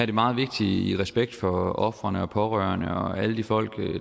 det meget vigtigt i respekt for ofrene og pårørende og alle de folk